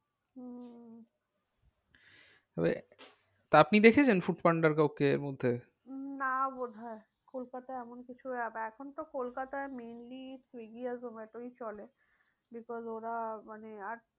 তবে তা আপনি দেখেছেন ফুড পান্ডার কাউকে এর মধ্যে? উম না বোধহয় কলকাতায় এমন কিছু এখন তো কলকাতায় mainly সুইগী আর জোমাটোই চলে। because ওরা মানে আর